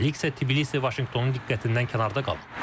Hələlik isə Tiflis Vaşinqtonun diqqətindən kənarda qalıb.